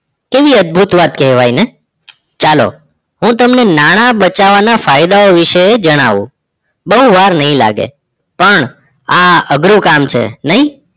કેવી કેવી અદભુત વાત કહેવાય ને ચલો હું તમને નાણાં બચવા ના ફાયદાઓ વિશે જણાવું બહુ વાર નહીં લાગે પણ આ અઘરું કામ છે નઇ